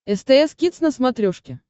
стс кидс на смотрешке